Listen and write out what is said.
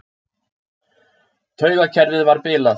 Taugakerfið var bilað.